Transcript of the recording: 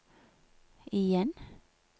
igjen